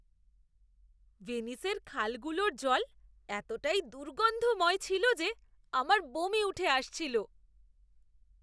ভেনিসের খালগুলোর জল এতটাই দুর্গন্ধময় ছিল যে আমার বমি উঠে আসছিল।